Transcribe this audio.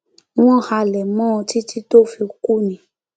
wọn halẹ mọ ọn títí tó fi kú ni